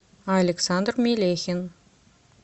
александр мелехин